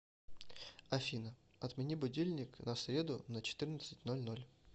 афина отмени будильник на среду на четырнадцать ноль ноль